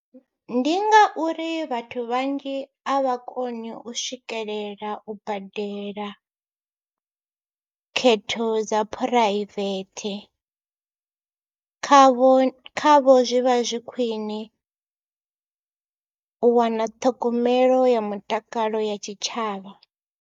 Ndi ngauri vhathu vhanzhi a vha koni u swikelela u badela khetho dza phuraivethe khavho, khavho zwi vha zwi khwine u wana ṱhogomelo ya mutakalo ya tshitshavha.